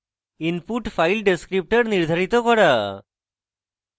input file descriptor নির্ধারিত করা